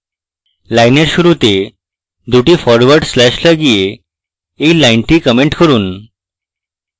লাইনের শুরুতে দুটি ফরওয়ার্ড slashes লাগিয়ে এই লাইনটি comment করুন